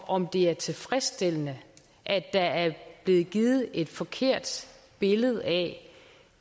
om det er tilfredsstillende at der er blevet givet et forkert billede af